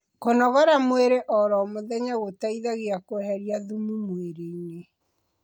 kũnogora mwĩrĩ oro mũthenya gũteithagia kueherĩa thumu mwĩrĩ-ini